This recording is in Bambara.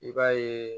I b'a ye